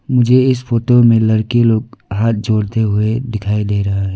मुझे इस फोटो में लड़की लोग हाथ जोड़ते हुए दिखाई दे रहा है।